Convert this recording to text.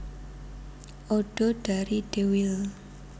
Odo dari Deuil